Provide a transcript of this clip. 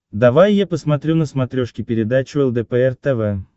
давай я посмотрю на смотрешке передачу лдпр тв